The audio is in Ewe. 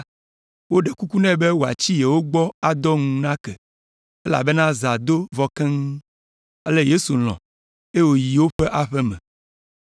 woɖe kuku nɛ be wòatsi yewo gbɔ adɔ ŋu nake, elabena zã do vɔ keŋ. Ale Yesu lɔ̃, eye wòyi woƒe aƒe me.